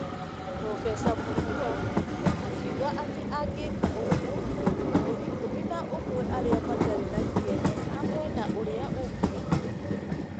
Prof. Mũtua akiuga atĩ angĩka ũguo, andũ ikũmi na ũmwe arĩa matarĩ na kĩene a mwena ũrĩa ũngĩ ,